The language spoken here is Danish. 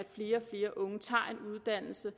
flere unge tager en uddannelse